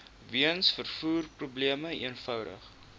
weens vervoerprobleme eenvoudig